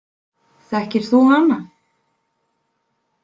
Þekkir þú hana?